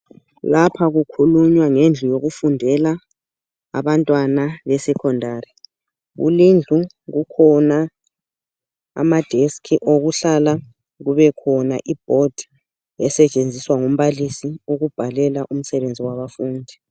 Lapha kukhulunywa ngendlu yokufundela abantwana be secondary kulindlu kukhona amatafula okuhlala kubekhona umgwembe osetshenziswa ngumbalisi ukubhalela umsebenzi wabafundi.